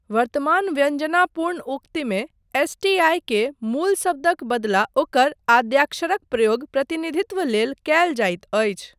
वर्तमान व्यञ्जनापूर्ण उक्तिमे एस.टी.आइ. क मूल शब्दक बदला ओकर आद्याक्षरक प्रयोग प्रतिनिधित्व लेल कयल जाइत अछि।